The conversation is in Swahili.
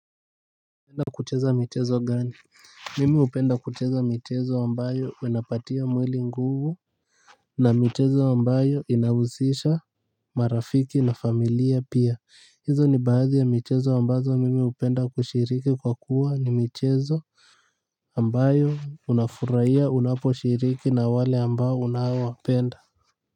Napenda kucheza michezo gani? Mimi hupenda kucheza michezo ambayo inapatia mwili nguvu na michezo ambayo inahusisha marafiki na familia pia. Hizo ni baadhi ya michezo ambazo mimi hupenda kushiriki kwa kuwa ni michezo ambayo unafuraia unaposhiriki na wale ambao unaowapenda.